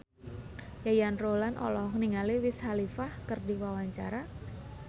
Yayan Ruhlan olohok ningali Wiz Khalifa keur diwawancara